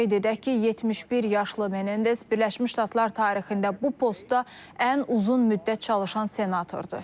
Qeyd edək ki, 71 yaşlı Menendez Birləşmiş Ştatlar tarixində bu postda ən uzun müddət çalışan senatordur.